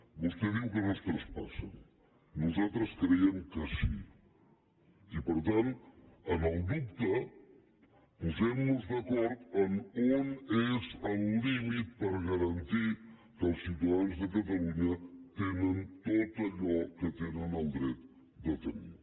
vostè diu que no es traspassen nosaltres criem que sí i per tant en el dubte posem nos d’acord on és el límit per garantir que els ciutadans de catalunya tenen tot allò que tenen el dret de tenir